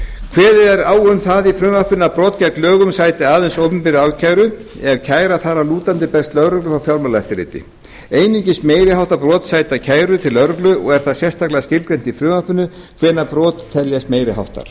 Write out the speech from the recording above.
kveðið er á um það í frumvarpinu að brot gegn lögunum sæti aðeins opinberri ákæru ef kæra þar að lútandi berst lögreglu frá fjármálaeftirliti einungis meiri háttar brot sæta kæru til lögreglu og er það sérstaklega skilgreint í frumvarpinu hvenær brot teljast meiri háttar